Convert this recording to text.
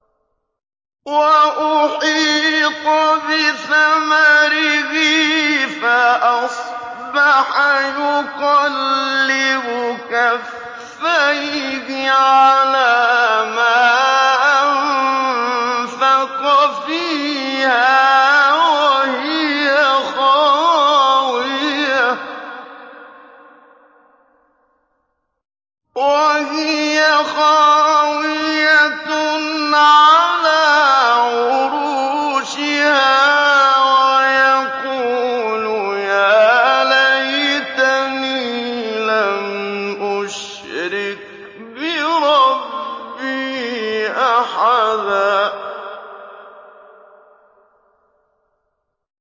وَأُحِيطَ بِثَمَرِهِ فَأَصْبَحَ يُقَلِّبُ كَفَّيْهِ عَلَىٰ مَا أَنفَقَ فِيهَا وَهِيَ خَاوِيَةٌ عَلَىٰ عُرُوشِهَا وَيَقُولُ يَا لَيْتَنِي لَمْ أُشْرِكْ بِرَبِّي أَحَدًا